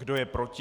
Kdo je proti?